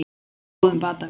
Á góðum batavegi